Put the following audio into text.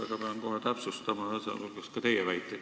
Aga pean kohe täpsustama, sh ka teie väiteid.